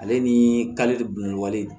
Ale ni